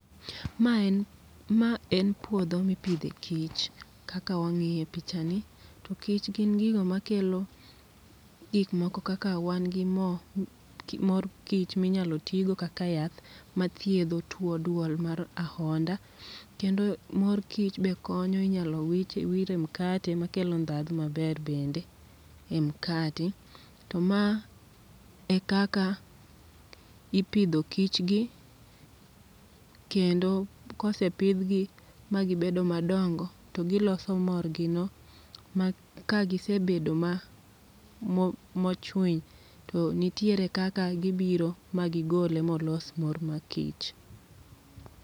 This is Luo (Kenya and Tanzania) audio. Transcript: Ma en ma en puodho mipidhe kich kaka wang'iye picha ni. To kich gin gigo ma kelo gik moko kaka wan gi mo mor kich minyalo tigo kaka yath mathiedho tuo duol mar ahonda. Kendo mor kich be konyo inyalo wich wir e mkate ma kelo ndhadhu maber bende e mkate. To ma e kaka ipidho kich gi, kendo kosepidh gi magibedo madongo to giloso morgi no. Ma ka gise bedo mochwiny, to nitiere kaka gibiro ma gigole molos mor ma kich.